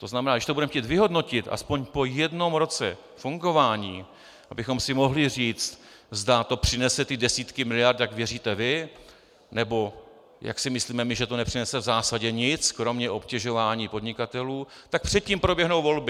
To znamená, když to budeme chtít vyhodnotit aspoň po jednom roce fungování, abychom si mohli říct, zda to přinese ty desítky miliard, jak věříte vy, nebo jak si myslíme my, že to nepřinese v zásadě nic kromě obtěžování podnikatelů, tak předtím proběhnou volby.